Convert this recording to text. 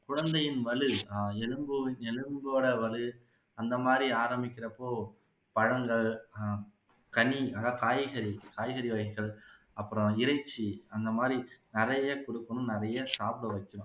குழந்தையின் வலு எலும்பு எலும்போட வலு அந்த மாதிரி அரமிக்கிறப்போ பழங்கள் கனி அஹ காய்கறி காய்கறி வகைகள் அப்பறம் இறைச்சி அந்த மாதிரி நிறைய கொடுக்கணும் நிறைய சாப்பிட வைக்கணும்